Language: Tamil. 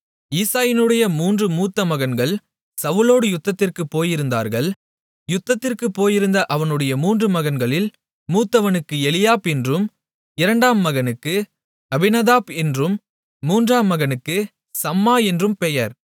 ஈசாயினுடைய மூன்று மூத்த மகன்கள் சவுலோடு யுத்தத்திற்குப் போயிருந்தார்கள் யுத்தத்திற்குப் போயிருந்த அவனுடைய மூன்று மகன்களில் மூத்தவனுக்கு எலியாப் என்றும் இரண்டாம் மகனுக்கு அபினதாப் என்றும் மூன்றாம் மகனுக்கு சம்மா என்றும் பெயர்